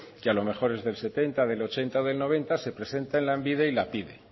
y a lo mejor el del setenta ochenta noventa se presentan en lanbide y la pide